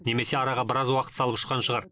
немесе араға біраз уақыт салып ұшқан шығар